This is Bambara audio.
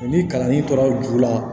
Ni kalanden tora ju la